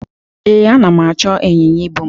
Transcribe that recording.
Ee, ana m achọ ịnyịnya ibu m.